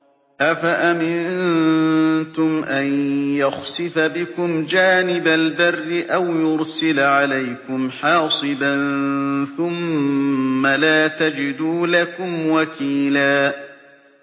أَفَأَمِنتُمْ أَن يَخْسِفَ بِكُمْ جَانِبَ الْبَرِّ أَوْ يُرْسِلَ عَلَيْكُمْ حَاصِبًا ثُمَّ لَا تَجِدُوا لَكُمْ وَكِيلًا